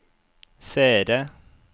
seere